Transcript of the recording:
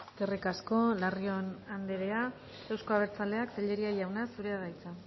eskerrik asko larrion anderea euzko abertzaleak tellería jauna zurea da hitza